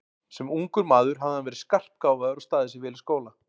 Sem ungur maður hafði hann verið skarpgáfaður og staðið sig vel í skóla.